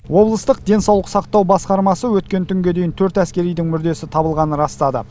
облыстық денсаулық сақтау басқармасы өткен түнге дейін төрт әскеридің мүрдесі табылғанын растады